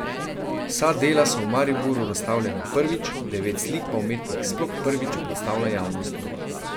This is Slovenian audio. Vsa dela so v Mariboru razstavljena prvič, devet slik pa umetnik sploh prvič predstavlja javnosti.